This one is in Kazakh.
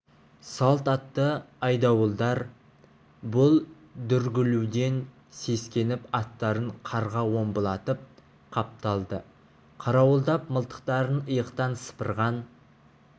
салт атты айдауылдар бұл дүрлігуден сескеніп аттарын қарға омбылатып қапталды қарауылдап мылтықтарын иықтан сыпырған